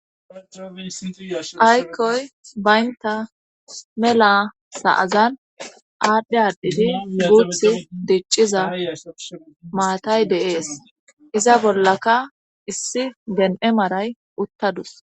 aykoy baynta mela sa7agan aadhdhe addidi yuguuth dicciza maatay deees iza bollaka issi den7e maray uttadus